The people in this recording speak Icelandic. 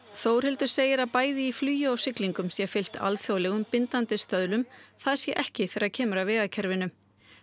Þórhildur segir að bæði í flugi og siglingum sé fylgt alþjóðlegum bindandi stöðlum það sé ekki þegar kemur að vegakerfinu